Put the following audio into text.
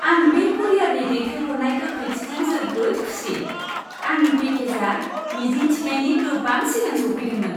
आं बे कुरियारनि दैथायहरनाय गोख्रैथिजों जोबोद खुसि। आंनि पेकेजआ मिजिं थिनायनि गोबां सिगां सौफैदोंमोन।